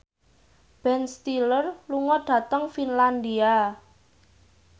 Ben Stiller lunga dhateng Finlandia